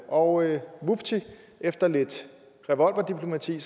og vupti efter lidt revolverdiplomati